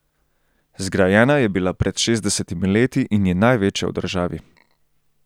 Zgrajena je bila pred šestdesetimi leti in je največja v državi.